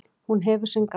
Og hún hefur sinn gang.